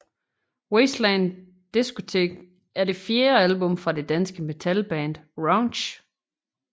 Wasteland Discotheque er det fjerde album fra det danske metalband Raunchy